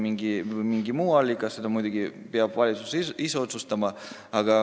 Seda peab muidugi valitsus ise otsustama, kas allikaks on reservfond või midagi muud.